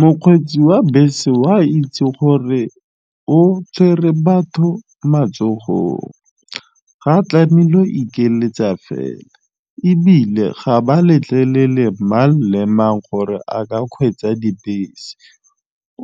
Mokgweetsi wa bese wa a itse gore o tshwere batho matsogong, ga tlamehile o ikeletsa fela ebile ga ba letlelele mang le mang gore a ka kgweetsa dibese,